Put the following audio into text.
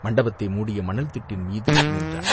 மண்டபத்தை மூடிய மணல் திட்டின் மீது நின்றான்.